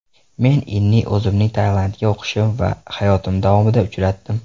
Men Inni o‘zimning Tailanddagi o‘qishim va hayotim davomida uchratdim.